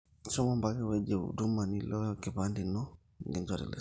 shomo mpaka ewueji e huduma nilo we kipande ino enkinchori licence